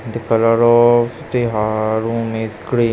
The colour o-of the ha-a-all room is green.